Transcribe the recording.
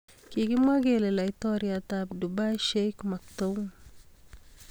kigimwa kele laitoriatap Dubai Sheikh maktoum.